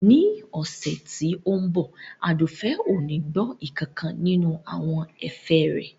Ní ọ̀sẹ̀ tí ó ń bọ̀ Àdùfẹ̀ ò ní gbọ́ nkankan nínú àwọn ẹ̀fẹ̀ rẹ